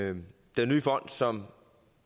den nye fond som